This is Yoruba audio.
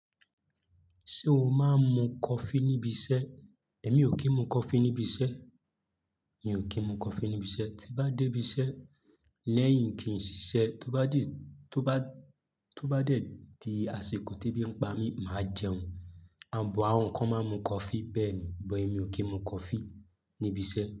Ṣé o máa ń mu coffee níbi iṣẹ́? Èmi ò kí ń mu coffee níbi iṣẹ́. Mi ò kí ń mu coffee níbi iṣẹ́. Tí bá dé ibi iṣẹ́ lẹ́yìn kí n ṣiṣẹ́, tó bá dì, tó bá, tó bá dẹ̀dí aṣẹ́kùú tí bí n pa mí, màá jẹun. Bọ̀ àwọn kan máa ń mu coffee bẹ́ẹ̀ ni, bọ̀ èmi ò kí ń mu coffee níbi iṣẹ́.